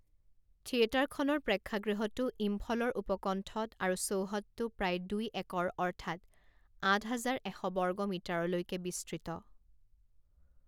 থিয়েটাৰখনৰ প্ৰেক্ষাগৃহটো ইম্ফলৰ উপকণ্ঠত আৰু চৌহদটো প্ৰায় দুই একৰ অৰ্থাৎ আঠ হাজাৰ এশ বৰ্গ মিটাৰলৈকে বিস্তৃত।